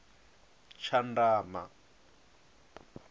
tshandama